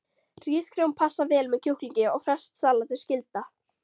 Hrísgrjón passa vel með kjúklingi og ferskt salat er skylda.